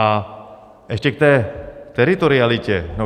A ještě k té teritorialitě.